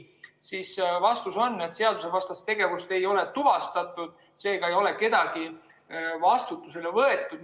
Vastus on, et seadusevastast tegevust ei ole tuvastatud, seega ei ole kedagi vastutusele võetud.